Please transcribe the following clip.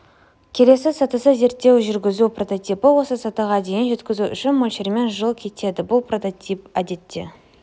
келесі сатысы зерттеу жүргізу прототипі осы сатыға дейін жеткізу үшін мөлшермен жыл кетеді бұл прототип әдетте